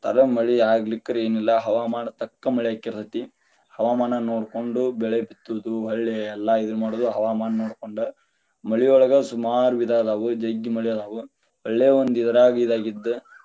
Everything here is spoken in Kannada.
ಮಳಿ ಆಗ್ಲಿಕ್ಕರಯೇನ ಇಲ್ಲಾ ಹವಾಮಾನ ತಕ್ಕ ಮಳಿ ಅಗ್ತಿರ್ತೇತಿ, ಹವಾಮಾನ ನೋಡ್ಕೊಂಡು ಬೆಳೆ ಬಿತ್ತುದು ಹೊಳ್ಳಿ ಎಲ್ಲಾ ಇದನ್ನ ಮಾಡುದು ಹವಾಮಾನ ನೋಡ್ಕೊಂಡ, ಮಳಿಯೊಳಗ ಸುಮಾರ ವಿಧ ಅದಾವ, ಜಗ್ಗಿ ಮಳಿ ಅದಾವ ಒಳ್ಳೆ ಒಂದ ಇದ್ರಾಗ ಇದ ಆಗಿದ್ದ.